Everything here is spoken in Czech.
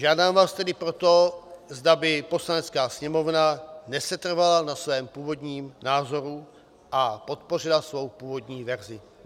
Žádám vás tedy proto, zda by Poslanecká sněmovna nesetrvala na svém původním názoru a podpořila svou původní verzi.